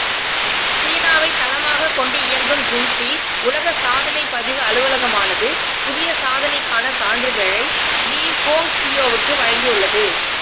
சீனாவைத் தளமாகக் கொண்டு இயங்கும் ஜின்ஸி உலக சாதனைப் பதிவு அலுவலகமானது புதிய சாதனைக்கான சான்றிதழை லீ ஹோங்சியோவுக்கு வழங்கியுள்ளது